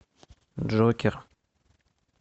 джокер